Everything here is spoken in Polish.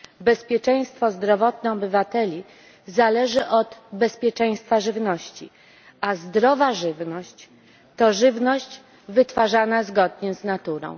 Bezpieczeństwo zdrowotne obywateli zależy od bezpieczeństwa żywności, a zdrowa żywność to żywność wytwarzana zgodnie z naturą.